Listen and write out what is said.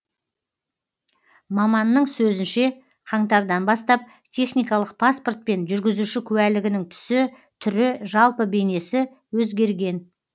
маманның сөзінше қаңтардан бастап техникалық паспорт пен жүргізуші куәлігінің түсі түрі жалпы бейнесі өзгерген